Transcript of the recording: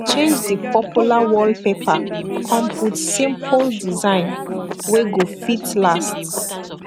e change di popular wallpaper kon put simpol design wey go fit last